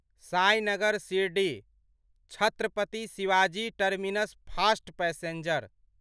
Sainagar Shirdi Chhatrapati Shivaji terminus fast passenger